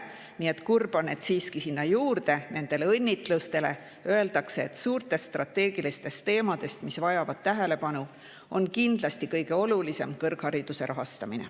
Nii et nendele õnnitlustele on siiski kurb juurde lisada, et suurtest strateegilistest teemadest, mis tähelepanu vajavad, on kindlasti kõige olulisem kõrghariduse rahastamine.